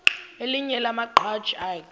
elinye lamaqhaji akhe